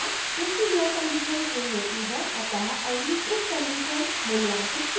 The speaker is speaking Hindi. चूँकि यह condition true होती है अतः अगली if condition मूल्यांकित की जाएगी